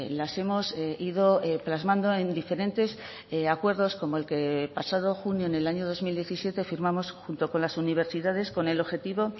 las hemos ido plasmando en diferentes acuerdos como el que pasado junio en el año dos mil diecisiete firmamos junto con las universidades con el objetivo